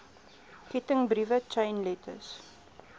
kettingbriewe chain letters